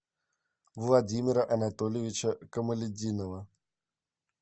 владимира анатольевича камалетдинова